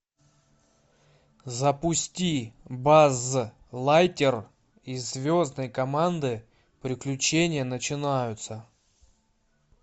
запусти базз лайтер из звездной команды приключения начинаются